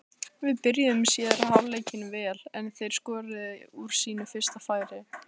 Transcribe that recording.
Við byrjuðum síðari hálfleikinn vel en þeir skoruðu úr sínu fyrsta færi.